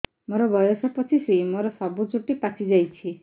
ମୋର ବୟସ ପଚିଶି ମୋର ସବୁ ଚୁଟି ପାଚି ଯାଇଛି